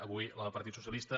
avui la del partit socialis·ta